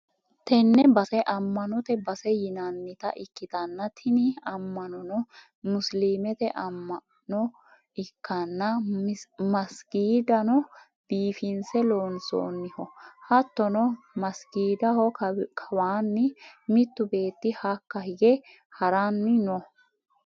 Tenne base amma'note base yinannita ikkitanna, tini amma'nono musiliimete amma'no ikkanna, masigiidano biiffinse loonsoonniho, hattono masigiidaho kawaanni mittu beetti hakka hige ha'ranni no.